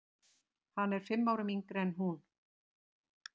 Hann er fimm árum yngri en hún.